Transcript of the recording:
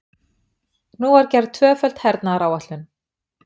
Nú var gerð tvöföld hernaðaráætlun.